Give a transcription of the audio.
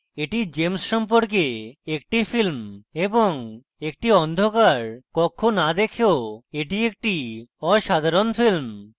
এটি james সম্পর্কে একটি film এবং একটি অন্ধকার কক্ষ না দেখেও এটি একটি অসাধারণ film